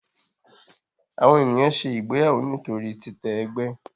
Àwọn ènìyàn ṣe ìgbéyàwó nítorí titẹ ègbé.